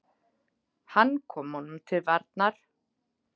Hann kom honum til varnar.